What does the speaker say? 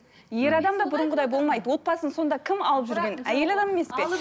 ер адам да бұрынғыдай болмайды отбасын сонда кім алып жүрген әйел адам емес пе